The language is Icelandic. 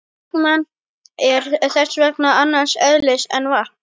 Rafmagn er þess vegna annars eðlis en vatn.